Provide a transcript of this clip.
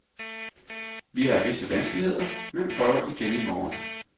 Vi har visse vanskeligheder, men prøv igen i morgen.